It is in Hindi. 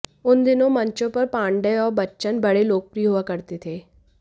उन दिनो मंचों पर पांडेय और बच्चन बड़े लोकप्रिय हुआ करते थे